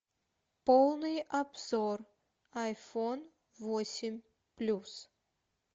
полный обзор айфон восемь плюс